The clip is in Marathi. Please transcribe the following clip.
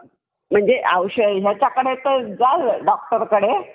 म्हणजे औषध doctor कडे